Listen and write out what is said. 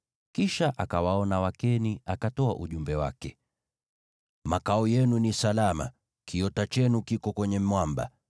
Kisha akawaona Wakeni, akatoa ujumbe wake: “Makao yenu ni salama, kiota chenu kiko kwenye mwamba.